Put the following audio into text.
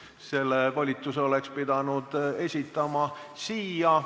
Selle volituse oleksite pidanud esitama siia.